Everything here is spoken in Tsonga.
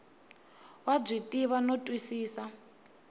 wa byi tiva no twisisa